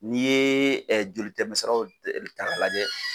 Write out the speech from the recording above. N'i ye jolitɛmɛsiraw ta ka lajɛ.